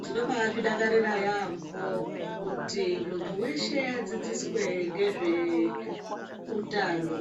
Tinobazvidakarira yambo kuti muntu weshe adzidziswe ngezve utano.